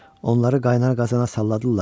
Onları qaynar qazana salladılar.